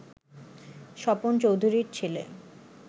স্বপন চৌধুরীর ছেলে